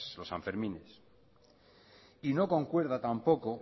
los san fermines y no concuerda tampoco